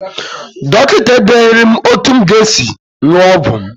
Dọkịta edeghiri m etu m ga- esi ṅụọ ọgwụ m.